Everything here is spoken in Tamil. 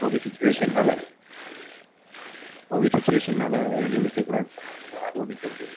COVID situation னால COVID situation னால வெளிய நிக்கக்கூடாதுன்னு சொன்னாங்கன்னா அதுவும் நிக்கமுடியாதுல.